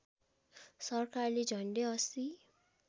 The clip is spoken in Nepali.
सरकारले झन्डै ८०